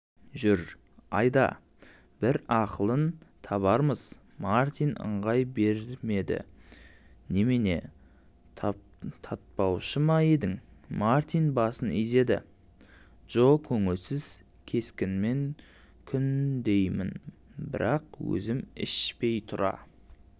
жүр айда бір ақылын табармызмартин ыңғай бермедінемене татпаушы ма едің мартин басын изеді джо көңілсіз кескінмен күндеймін бірақ өзім ішпей тұра